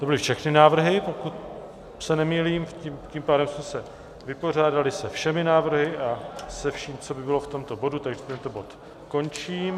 To byly všechny návrhy, pokud se nemýlím, tím pádem jsme se vypořádali se všemi návrhy a se vším, co by bylo v tomto bodu, takže tento bod končím.